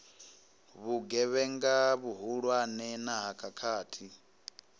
vhugevhenga vhuhulwane na ha khakhathi